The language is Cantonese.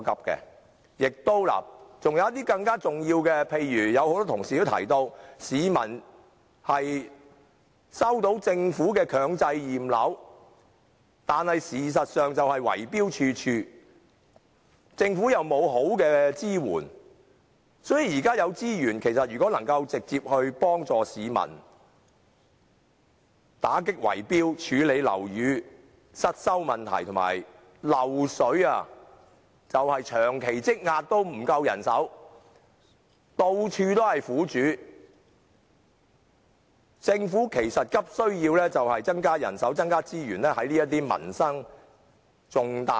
還有一些更重要的事，例如有很多同事也提到，市民收到政府強制驗樓的通知，但事實上圍標的問題十分嚴重，政府亦未能提供有效支援，所以應把現有資源直接用於幫助市民打擊圍標行為及處理樓宇失修問題上，其實樓宇滲漏問題正因人手不足而長期積壓，苦主到處皆見。